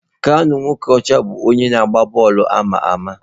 Kanu Nwankwo bụ onye na agba bọọlụ ama ama.